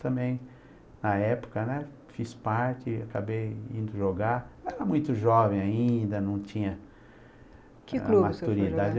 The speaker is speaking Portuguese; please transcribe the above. também, na época, né, fiz parte, acabei indo jogar, era muito jovem ainda, não tinha... Que clube você foi jogar?